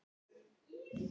Aftur þagnaði pabbi.